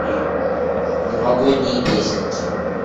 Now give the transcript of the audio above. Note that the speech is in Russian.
новогодние песенки